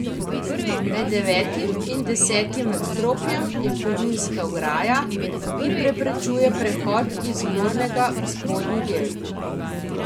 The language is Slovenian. Med devetim in desetim nadstropjem je kovinska ograja, ki preprečuje prehod iz zgornjega v spodnji del.